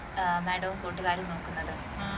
ഏർ madam വും കൂട്ടുകാരും നോക്കുന്നത്